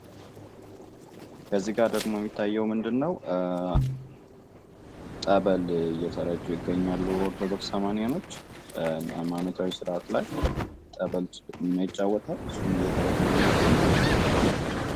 ከዚህጋ ደግሞ የሚታየው ምንድን ነው? ጠበል እየተራጩ ይገኛሉ። ኦርቶዶክስ አማንያኖች ሃይማኖታዊ ስርአት ላይ ጠበል ትልቅ ሚና ይጫወታል። እሱን እየተራጩ ነው የሚገኙት።